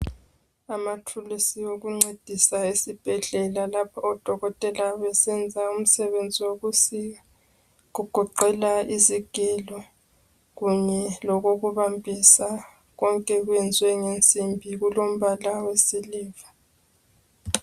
Amathulusi wokuncedisa esibhedlela lapho odokotela besenza umsebenzi wokusika kugoqela izigelo kunye lokokubambisa konke kwenzwe ngensimbi kulombala wesiliva.